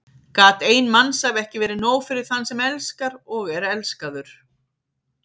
Gat ein mannsævi ekki verið nóg fyrir þann sem elskar og er elskaður?